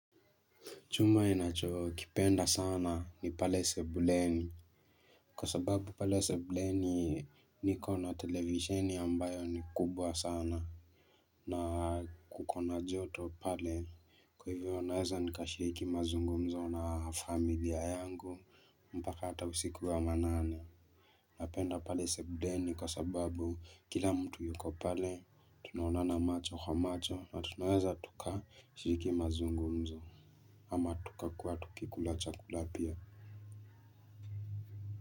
Chuma ninachokipenda sana ni pale sebuleni. Kwa sababu pale sebuleni niko na televisheni ambayo ni kubwa sana. Na kuko na joto pale. Kwa hivyo naeza nikashiriki mazungumzo na familia yangu. Mpaka hata usiku wa manane. Na penda pale sebuleni kwa sababu kila mtu yuko pale. Tunaonana macho kwa macho na tunaweza tukashiriki mazungumzo. Ama tukakuwa tukikula chakula pia.